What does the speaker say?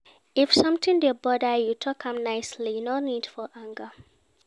If sometin dey bother you, tok am nicely, no need for anger.